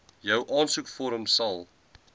jou aansoekvorm sal